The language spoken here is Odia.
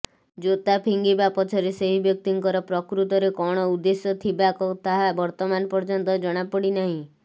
ଜୋତା ଫିଙ୍ଗିବା ପଛରେ ସେହି ବ୍ୟକ୍ତିଙ୍କର ପ୍ରକୃତରେ କଣ ଉଦେଶ୍ୟ ଥିବା ତାହା ବର୍ତ୍ତମାନ ପର୍ଯ୍ୟନ୍ତ ଜଣାପଡିନାହିଁ